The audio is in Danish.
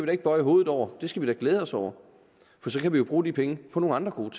da ikke bøje hovedet over det skal vi da glæde os over for så kan vi jo bruge de penge på nogle andre gode